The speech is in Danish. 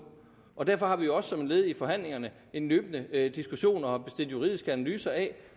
og derfor har vi jo også som et led i forhandlingerne en løbende diskussion og har bestilt juridiske analyser af